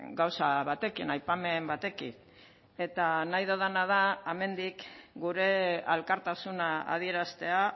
gauza batekin aipamen batekin eta nahi dudana da hemendik gure elkartasuna adieraztea